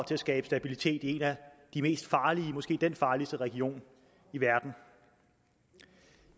til at skabe stabilitet i en af de mest farlige regioner måske den farligste region i verden